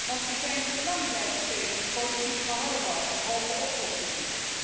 Want we zijn te lang blijven steken in politiek geharrewar en halve oplossingen.